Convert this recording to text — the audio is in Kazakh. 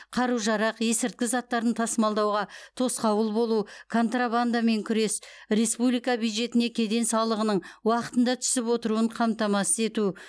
қару жарақ есірткі заттарын тасымалдауға тосқауыл болу контрабандамен күрес республика бюджетіне кеден салығының уақытында түсіп отыруын қамтамасыз ету